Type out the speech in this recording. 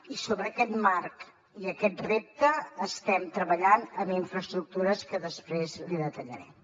i sobre aquest marc i aquest repte estem treballant en infraestructures que després li detallaré